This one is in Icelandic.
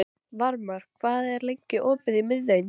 Varmar, hvað er lengi opið í Miðeind?